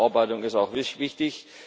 Also die Überarbeitung ist auch wichtig.